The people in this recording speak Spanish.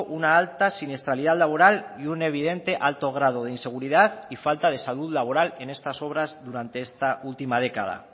una alta siniestralidad laboral y un evidente alto grado de inseguridad y falta de salud laboral en estas obras durante esta última década